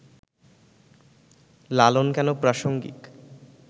লালন কেন প্রাসঙ্গিক